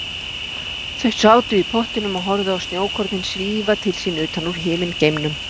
Þau sátu í pottinum og horfðu á snjókornin svífa til sín utan úr himingeimnum.